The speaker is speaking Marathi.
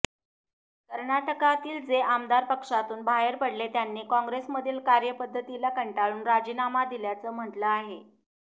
कर्नाटकातील जे आमदार पक्षातून बाहेर पडले त्यांनी काँग्रेसमधील कार्यपद्धतीला कंटाळून राजीनामा दिल्याचं म्हटलं आहे